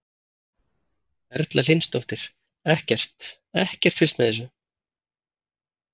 Erla Hlynsdóttir: Ekkert, ekkert fylgst með þessu?